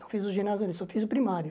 Não fiz o ginásio ali, só fiz o primário.